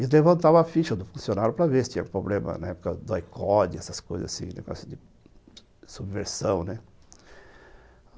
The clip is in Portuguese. levantavam a ficha do funcionário para ver se tinha problema, né, por causa do essas coisas assim, negócio de subversão, né.